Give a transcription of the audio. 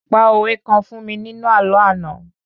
pa òwe kan fún mi nínu àlọ́ ana